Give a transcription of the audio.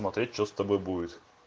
смотреть что с тобой будет